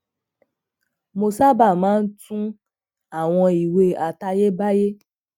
mo sábà máa ń tun àwọn ìwé àtayébáyé